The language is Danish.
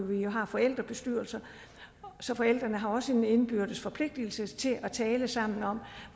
vi jo har forældrebestyrelser så forældrene har også en indbyrdes forpligtelse til at tale sammen om